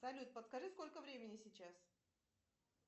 салют подскажи сколько времени сейчас